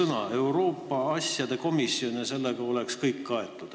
Kui oleks Euroopa asjade komisjon, siis sellega oleks kõik kaetud.